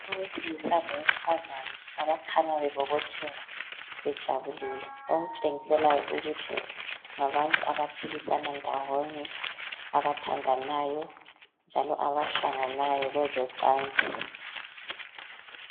Owesilisa lowesifazana abakhanya bebobotheka bejabulile okutshengiselayo ukuthi ngabantu abaphilisana ndawonye abathandanayo njalo abahlanganayo kwezocansi.